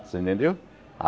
Você entendeu?